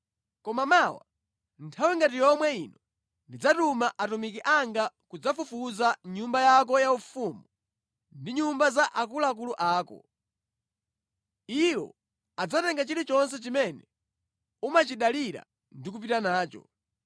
Koma mawa nthawi ngati yomwe ino ndidzatuma atumiki anga kudzafufuza mʼnyumba yako yaufumu ndi nyumba za akuluakulu ako. Iwo adzatenga chilichonse chimene umachidalira ndi kupita nacho.’ ”